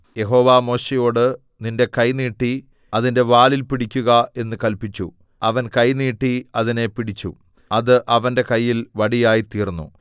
യഹോവ മോശെയോട് നിന്റെ കൈ നീട്ടി അതിന്റെ വാലിൽ പിടിക്കുക എന്ന് കല്പിച്ചു അവൻ കൈ നീട്ടി അതിനെ പിടിച്ചു അത് അവന്റെ കയ്യിൽ വടിയായിത്തീർന്നു